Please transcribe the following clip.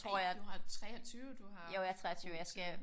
Nej du har 23 du har god tid